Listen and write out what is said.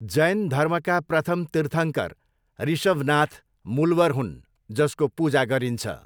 जैन धर्मका प्रथम तीर्थङ्कर, ऋषभनाथ, मूलवर हुन् जसको पूजा गरिन्छ।